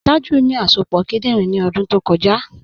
Tàjú ní àsọpọ̀ kìdìnrín ní ọ̀dún tó kọ̀jà.